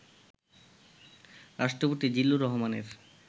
রাষ্ট্রপতি জিল্লুর রহমানের